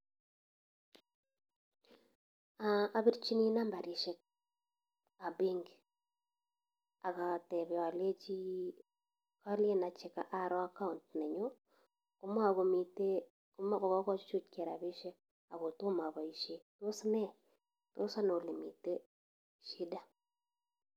Apirchini namba chepon penki akatepe alechi kalen aro account nenyu komakomitei anan komachutu rapishek ako toma apaishe, tos ne, tos ano ole mitei shida.